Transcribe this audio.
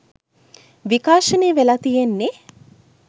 විකාශනය වෙල තියෙන්නේ.